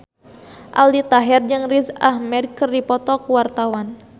Aldi Taher jeung Riz Ahmed keur dipoto ku wartawan